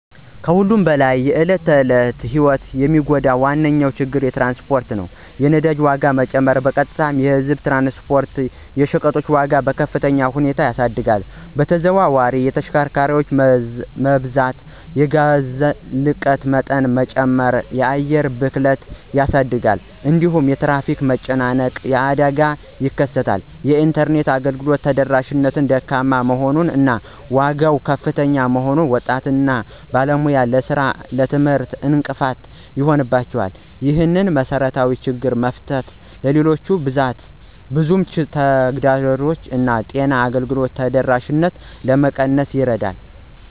ከሁሉም በላይ የዕለት ተዕለት ሕይወትን የሚጎዳ ዋነኛ ችግር ትራንስፖርት ነው። የነዳጅ ዋጋ መጨመር በቀጥታ የህዝብ ትራንስፖርት እና የሸቀጦች ዋጋን በከፍተኛ ሁኔታ ያሳድጋል። በተዘዋዋሪ የተሽከርካሪ መብዛት የጋዝ ልቀት መጠን በመጨመር የአየር ብክለትን ያሳድጋል። እንዲሁም የትራፊክ መጨናነቅ እና አደጋ ይከሰታል። የኢንተርኔት አገልግሎት ተደራሽነት ደካማ መሆን እና ዋጋው ከፍተኛ መሆኑን ወጣቶች እና ባለሙያዎች ለሥራ እና ለትምህርት እንቅፋት ይሆንባቸዋል። ይህንን መሰረታዊ ችግር መፍታት ሌሎች ብዙ ተግዳሮቶችን እንደ ጤና አገልግሎት ተደራሽነት ለመቀነስ ይረዳል።